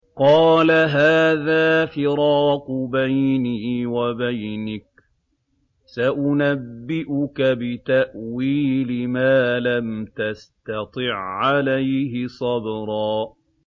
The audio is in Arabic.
قَالَ هَٰذَا فِرَاقُ بَيْنِي وَبَيْنِكَ ۚ سَأُنَبِّئُكَ بِتَأْوِيلِ مَا لَمْ تَسْتَطِع عَّلَيْهِ صَبْرًا